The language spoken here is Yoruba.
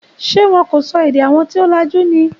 Ṣé wọn kò sọ èdè àwọn tí o lajú ni?